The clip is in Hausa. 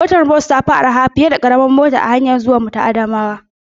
Motar bas ta fi araha fiye da karamar mota a hanyarmu ta zuwa Adamawa.